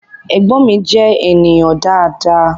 Ẹ̀gbọ́n mi je ènìyàn dáadáa